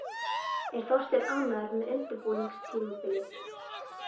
Er Þorsteinn ánægður með undirbúningstímabilið?